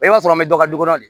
I b'a sɔrɔ an bɛ dɔ du kɔnɔ de